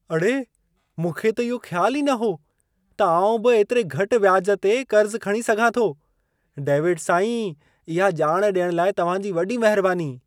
अड़े! मूंखे त इहो ख़्यालु ई न हो त आउं बि ऐतिरे घटि व्याज ते क़र्ज़ु खणी सघां थो। डेविड साईं, इहा ॼाण ॾियण लाइ तव्हां जी वॾी महिरबानी।